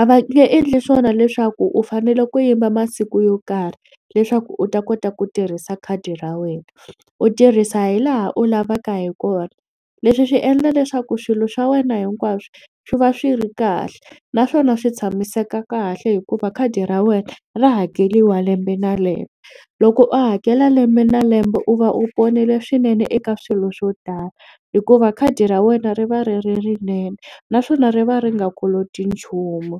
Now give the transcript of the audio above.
A va nge endli swona leswaku u fanele ku yima masiku yo karhi leswaku u ta kota ku tirhisa khadi ra wena u tirhisa hi laha u lavaka hi kona. Leswi swi endla leswaku swilo swa wena hinkwaswo swi va swi ri kahle naswona swi tshamiseka kahle hikuva khadi ra wena ra hakeriwa lembe na lembe. Loko u hakela lembe na lembe u va u ponile swinene eka swilo swo tala hikuva khadi ra wena ri va ri ri rinene naswona ri va ri nga koloti nchumu.